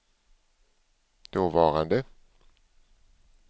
dåvarande